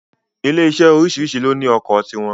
Ilé iṣé oríṣìríṣi ló ní ọkọ̀ ti wọn